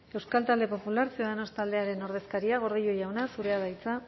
euskal talde popular ciudadanos taldearen ordezkaria gordillo jauna zurea da hitza